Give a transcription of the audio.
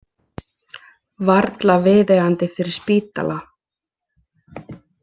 Varla viðeigandi fyrir spítala.